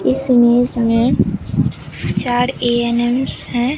इस इमेज में चार ए_एन_एम हैं।